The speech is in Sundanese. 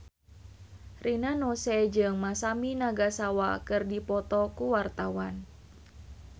Rina Nose jeung Masami Nagasawa keur dipoto ku wartawan